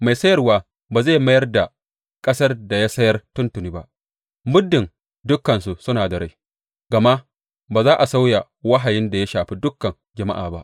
Mai sayarwa ba zai mayar da ƙasar da ya sayar tuntuni ba muddin dukansu suna da rai, gama ba za a sauya wahayin da ya shafi dukan jama’a ba.